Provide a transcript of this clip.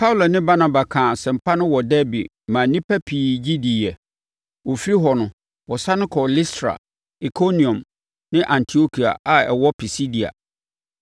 Paulo ne Barnaba kaa asɛmpa no wɔ Derbe maa nnipa pii gye diiɛ. Wɔfiri hɔ no, wɔsane kɔɔ Listra, Ikoniom ne Antiokia a ɛwɔ Pisidia.